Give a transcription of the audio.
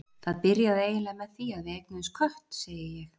Það byrjaði eiginlega með því að við eignuðumst kött, segi ég.